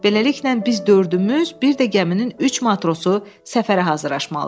Beləliklə biz dördümüz, bir də gəminin üç matrosu səfərə hazırlaşmalıyıq.